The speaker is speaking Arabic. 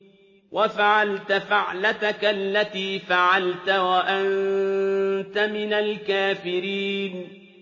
وَفَعَلْتَ فَعْلَتَكَ الَّتِي فَعَلْتَ وَأَنتَ مِنَ الْكَافِرِينَ